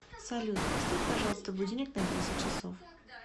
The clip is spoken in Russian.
салют поставь пожалуйста будильник на десять часов